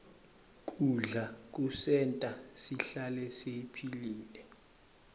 kudla kusenta sihlale siphilile